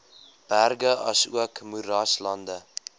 berge asook moeraslande